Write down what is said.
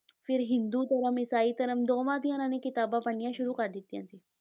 ਫਿਰ ਹਿੰਦੂ ਧਰਮ, ਈਸਾਈ ਧਰਮ ਦੋਵਾਂ ਦੀਆਂ ਇਹਨਾਂ ਨੇ ਕਿਤਾਬਾਂ ਪੜ੍ਹਨੀਆਂ ਸ਼ੁਰੂ ਕਰ ਦਿੱਤੀਆਂ ਸੀ।